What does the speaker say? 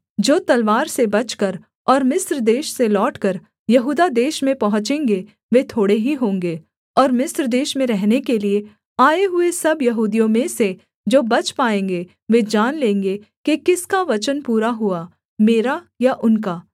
जो तलवार से बचकर और मिस्र देश से लौटकर यहूदा देश में पहुँचेंगे वे थोड़े ही होंगे और मिस्र देश में रहने के लिये आए हुए सब यहूदियों में से जो बच पाएँगे वे जान लेंगे कि किसका वचन पूरा हुआ मेरा या उनका